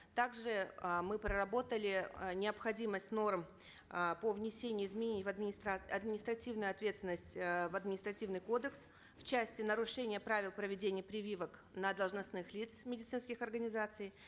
также э мы проработали э необходимость норм э по внесению изменений в административную ответственность э в административный кодекс в части нарушения правил проведения прививок на должностных лиц медицинских организаций